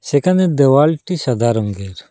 সেখানে দেওয়ালটি সাদা রংগের ।